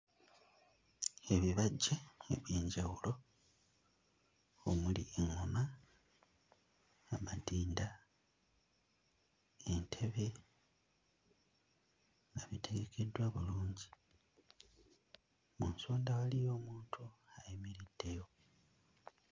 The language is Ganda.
Ebibajje eby'enjawulo omuli eŋŋoma, amadinda, entebe nga bitegekeddwa bulungi, mu nsonda waliyo omuntu ayimiriddeyo.